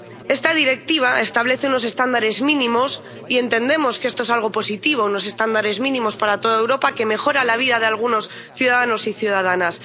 Esta Directiva establece unos estándares mínimos y entendemos que esto es algo positivo unos estándares mínimos para toda Europa, que mejoran la vida de algunos ciudadanos y ciudadanas.